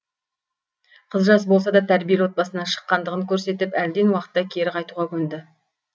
қыз жас болса да тәрбиелі отбасынан шыққандығын көрсетіп әлден уақытта кері қайтуға көнді